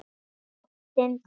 Ástin deyr.